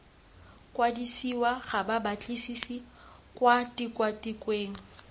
kwadisiwa ga babatlisisi kwa tikwatikweng